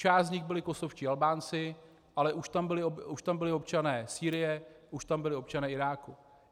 Část z nich byli kosovští Albánci, ale už tam byli občané Sýrie, už tam byli občané Iráku.